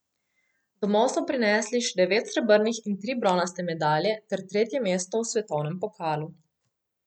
Domov so prinesli še devet srebrnih in tri bronaste medalje ter tretje mesto v svetovnem pokalu.